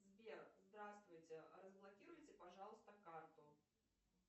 сбер здравствуйте разблокируйте пожалуйста карту